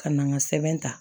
Ka na n ka sɛbɛn ta